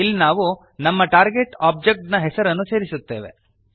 ಇಲ್ಲಿ ನಾವು ನಮ್ಮ ಟಾರ್ಗೆಟ್ ಒಬ್ಜೆಕ್ಟ್ ನ ಹೆಸರನ್ನು ಸೇರಿಸುತ್ತೇವೆ